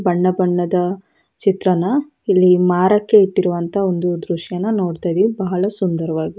ಬಣ್ಣ ಬಣ್ಣದ ಚಿತ್ರಣ ಇಲ್ಲಿ ಮಾರಕ್ಕೆ ಇಟ್ಟಿರುವ ದೃಶ್ಯನ ನೋಡುತೀವಿ ಬಹಳ ಸುಂದರವಾಗಿದೆ.